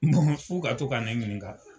k'u ka to ka ne ɲininka.